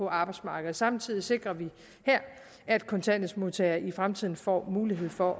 arbejdsmarkedet samtidig sikrer vi her at kontanthjælpsmodtagere i fremtiden får mulighed for